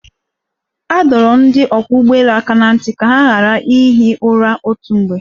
A dọrọ ndị ọkwọ́ ụgbọelu aka na ntị ka ha ghara ihi ura otu mgbe.